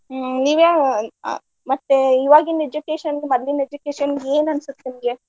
ಹ್ಮ್‌ ನೀವ ಯಾವ ಅ ಮತ್ತೆ ಈವಾಗಿನ education ಗು ಮದ್ಲಿನ್ education ಗು ಏನ್ ಅನ್ಸುತೆ ನಿಮ್ಗೆ?